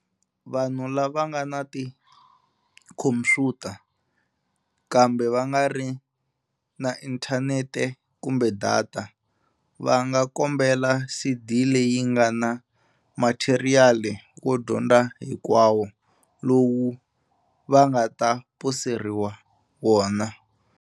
Vanhu lava nga na tikhomphyuta kambe va nga ri na inthanete kumbe data, va nga kombela CD leyi nga na matheriyali wo dyondza hinkwawo, lowu va nga ta poseriwa wona.